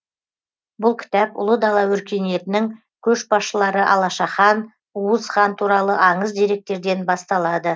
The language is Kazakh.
бұл кітап ұлы дала өркениетінің көшбасшылары алаша хан уыз хан туралы аңыз деректерден басталады